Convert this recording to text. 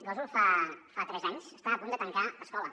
gósol fa tres anys estava a punt de tancar l’escola